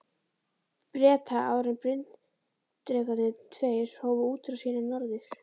Breta, áður en bryndrekarnir tveir hófu útrás sína norður.